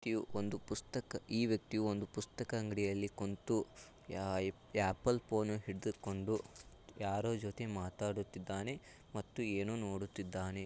ಇದು ಒಂದು ಪುಸ್ತಕ ಈ ವ್ಯಕ್ತಿಯು ಒಂದು ಪುಸ್ತಕ ಅಂಗಡಿಯಲ್ಲಿ ಕುಂತು ಆಪಲ್ ಫೋನ್ ಹಿಡಿದುಕೊಂಡು ಯಾರೋ ಜೊತೆ ಮಾತಾಡುತ್ತಿದ್ದಾನೆ ಮತ್ತು ಏನು ನೋಡುತ್ತಿದ್ದಾನೆ --